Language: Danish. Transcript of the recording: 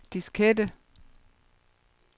diskette